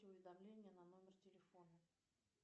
уведомления на номер телефона